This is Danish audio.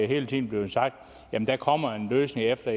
hele tiden bliver sagt jamen der kommer en løsning efter